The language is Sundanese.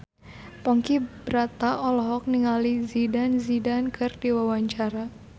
Ponky Brata olohok ningali Zidane Zidane keur diwawancara